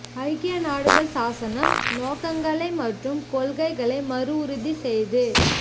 ஐக்கிய நாடுகள் சாசனம் நோக்கங்களுக்களை மற்றும் கொள்கைகளை மறு உறுதி செய்து